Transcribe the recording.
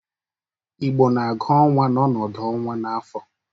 Igbo na-agụ ọnwa n'ọnọdụ ọnwa n'afọ.